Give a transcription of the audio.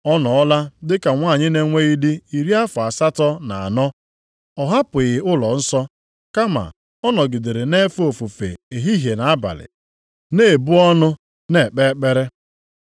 Ọ nọọla dị ka nwanyị na-enweghị dị iri afọ asatọ na anọ. Ọ hapụghị ụlọnsọ, kama ọ nọgidere nʼefe ofufe ehihie na abalị, na-ibu ọnụ na-ekpe ekpere.